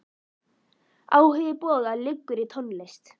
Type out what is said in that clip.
Áhugi Boga liggur í tónlist.